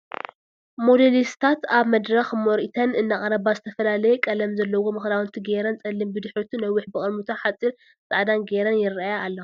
ሞዴሊስታት ኣብ መድረክ ምርኢተን እናቅረባ ዝተፈላለየ ቀለም ዘለዎም ክዳውንቲ ጌረን ፀሊም ብድሕሪቱ ነዊሕ ብቅድሚቱ ሓፂር፣ ፃዕዳን ጌረን የርእያ ኣለዋ ።